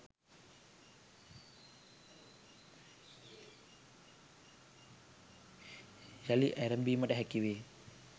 යළි ඇරඹීමට හැකි වේ